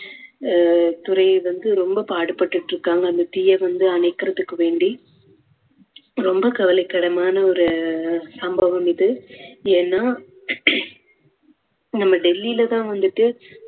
அஹ் துறை வந்து ரொம்ப பாடுபட்டுட்டு இருக்காங்க அந்த தீயை வந்து அணைக்குறதுக்கு வேண்டி ரொம்ப கவலைக்கிடமான ஒரு சம்பவம் இது. ஏன்னா நம்ம டெல்லில தான் வந்துட்டு